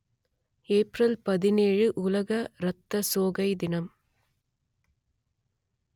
April பதினேழு உலக ரத்தசோகை தினம்